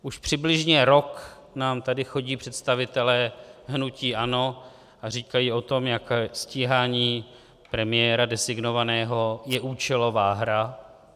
Už přibližně rok nám tady chodí představitelé hnutí ANO a říkají o tom, jak stíhání premiéra designovaného je účelová hra.